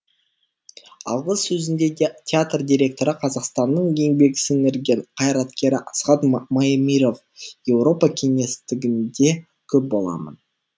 алғы сөзінде театр директоры қазақстанның еңбек сіңірген қайраткері асхат маемиров еуропа кеңістігінде көп боламын